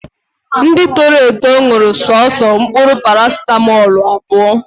Ndị toro eto ṅụrụ soso mkpụrụ parasitamọlụ abụọ